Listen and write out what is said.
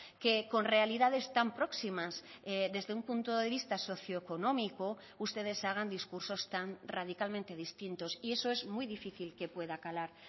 que con realidades tan próximas desde un punto de vista socioeconómico ustedes hagan discursos tan radicalmente distintos y eso es muy difícil que pueda calar